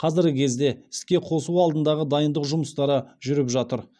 қазіргі кезде іске қосу алдындағы дайындық жұмыстары жүріп жатыр